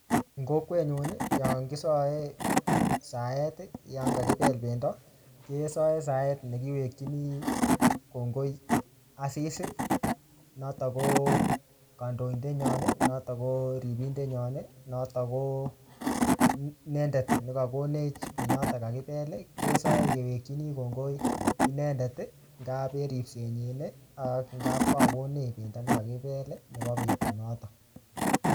Eng kokwet nyu, yon kisae saet yon kakibel pendo, kesae saet nekiwekchini kongoi Asis. Notok ko kandoidet nyon, notok ko ripindet nyon, notok ko inendet ne kakonech penyotok kakibel, kesae kewekchini kongoi inendet. Ngap en ripset nyin, ak ngap kakokonech pendo ne kakibel nebo betut notok